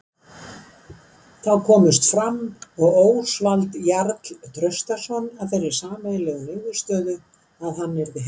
Þá komust Fram og Ósvald Jarl Traustason að þeirri sameiginlegu niðurstöðu að hann yrði heima.